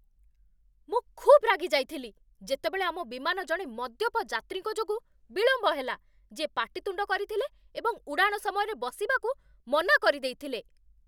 ମୁଁ ଖୁବ୍ ରାଗିଯାଇଥିଲି ଯେତେବେଳେ ଆମ ବିମାନ ଜଣେ ମଦ୍ୟପ ଯାତ୍ରୀଙ୍କ ଯୋଗୁଁ ବିଳମ୍ବ ହେଲା, ଯିଏ ପାଟିତୁଣ୍ଡ କରିଥିଲେ ଏବଂ ଉଡ଼ାଣ ସମୟରେ ବସିବାକୁ ମନା କରିଦେଇଥିଲେ।